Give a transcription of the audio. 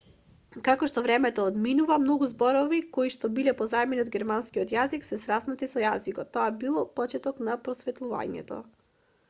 како што времето одминува многу зборови коишто биле позајмени од германскиот јазик се сраснале со јазикот тоа бил почетокот на просветлувањето